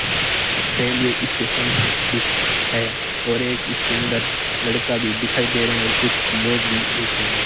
Railway station दिख है और एक इसके अंदर लड़का दिखाई दे रहें और कुछ लोग भी बैठे हैं।